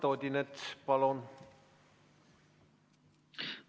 Eduard Odinets, palun!